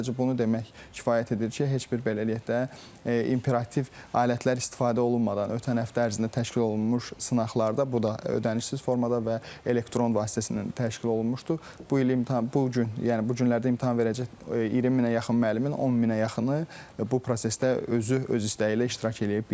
Sadəcə bunu demək kifayət edir ki, heç bir belə deyək də imperativ alətlər istifadə olunmadan ötən həftə ərzində təşkil olunmuş sınaqlarda bu da ödənişsiz formada və elektron vasitəsindən təşkil olunmuşdur, bu ilin imta bu gün, yəni bu günlərdə imtahan verəcək 20 minə yaxın müəllimin 10 minə yaxını bu prosesdə özü öz istəyi ilə iştirak eləyə bilibdir.